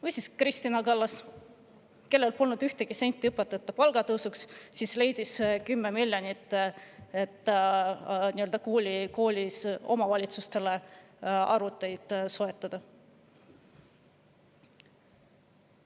" Või siis Kristina Kallas, kellel polnud õpetajate palga tõusuks ühtegi senti, aga kes leidis omavalitsustele 10 miljonit, et koolid arvuteid soetada.